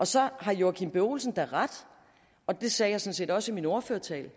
så har herre joachim b olsen da ret og det sagde jeg sådan set også i min ordførertale